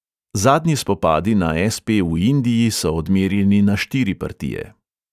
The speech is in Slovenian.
Zadnji spopadi na SP v indiji so odmerjeni na štiri partije.